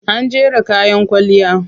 An jera kayan kwalliya.